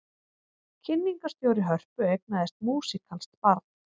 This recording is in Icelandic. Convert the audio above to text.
Kynningarstjóri Hörpu eignaðist músíkalskt barn